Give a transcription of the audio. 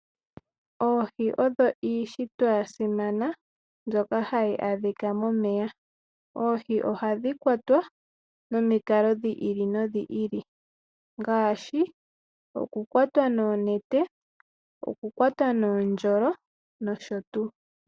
Oohi odho iishitwa yasimana mbyoka hayi adhika momeya. Oohi ohadhi kwatwa nomikalo dhi ili nodhi ili ngaashi oku kwatwa noonete, oku kwatwa noondjolo nosho tuu.